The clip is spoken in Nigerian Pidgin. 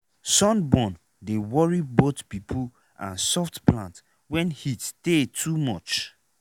sunburn dey worry both pipo and soft plant wen heat tey too much.